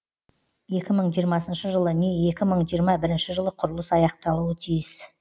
екі мың жиырмасыншы жылы не екі мың жиырма бірінші жылы құрылыс аяқталуы тиіс